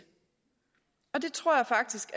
og det tror jeg faktisk